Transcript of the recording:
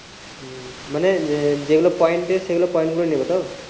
মানে যে যে গুলো point সেই গুলো point নেবো তো